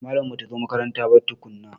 Malamar mu bata zo makaranta ba tukunna.